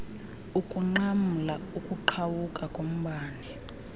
ukunqamla ukuqhawuka kombane